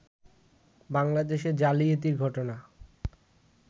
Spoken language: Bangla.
বাংলাদেশে জালিয়াতির ঘটনা